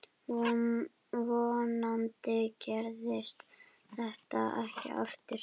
Vonandi gerist þetta ekki aftur.